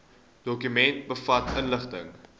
dokument bevat inligting